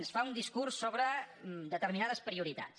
ens fa un discurs sobre determinades prioritats